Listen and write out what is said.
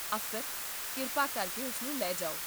ਅਫਸਰ, ਕਿਰਪਾ ਕਰਕੇ ਉਸ ਨੂੰ ਲੈ ਜਾਓ